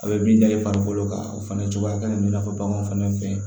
A bɛ min da i farikolo kan o fana cogoya ka ɲi i n'a fɔ baganw fana fɛ